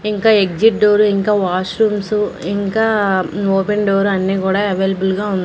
ఇంకా exit door ఇంకా washrooms ఇంకా ఓపెన్ డోరు అన్నీ కూడా అవైలబుల్ గా ఉన్--